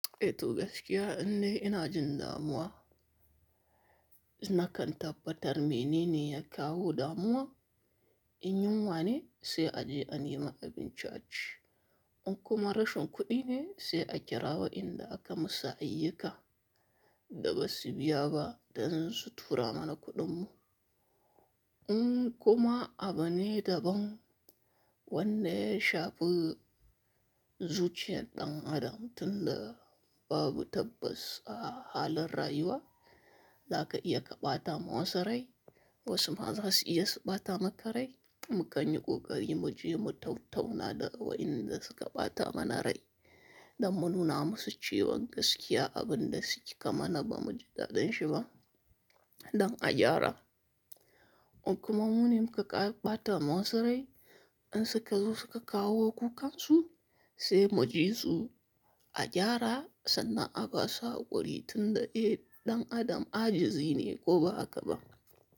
Eh toh gaskiya indai ina jin damuwa. Na kan tabbatar mini ne ya kawo damuwa. In yunwa ne sai a je a nema abinci a ci. In kuma rashin kuɗi ne sai a kira wa inda aka masa ayyuka. Da ba su biya ba dan su tura mana kuɗin mu. In kuma abu ne daban wanda ya shafi, zuciyar ɗan Adam tunda babu tabbas a halin rayuwa. Za aka iya kaɓatama wasu rai, wasu ma za su iya su ɓatamaka rai. Mu kanyi ƙoƙari mu ji mu tattauna da waenda suka ɓata mana rai don mu nuna musu cewa gaskiya abun da suke mana ba mu ji dadin shi ba. Don a gyara. In kuma mu ne muka kara ɓatama wa su rai, in suka zo suka kawo kukan su sai mu ji su a gyara, sannan a basu hakuri tunda eh, ɗan' Adam ajizi ne ko ba haka ba.